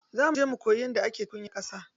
Za muje mu koyi yadda ake tukunyar ƙasa.